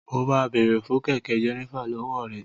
Mo ma bèrè fun kẹkẹ Jenifer lọwọ rẹ.